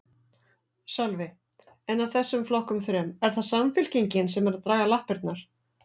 Sölvi: En af þessum flokkum þrem, er það Samfylkingin sem er að draga lappirnar?